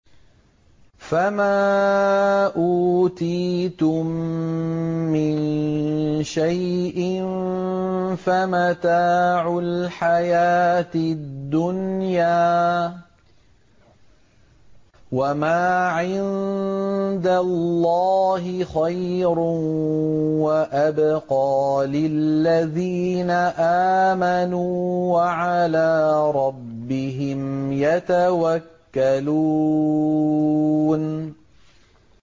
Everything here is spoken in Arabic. فَمَا أُوتِيتُم مِّن شَيْءٍ فَمَتَاعُ الْحَيَاةِ الدُّنْيَا ۖ وَمَا عِندَ اللَّهِ خَيْرٌ وَأَبْقَىٰ لِلَّذِينَ آمَنُوا وَعَلَىٰ رَبِّهِمْ يَتَوَكَّلُونَ